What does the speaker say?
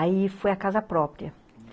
Aí foi a casa própria, hum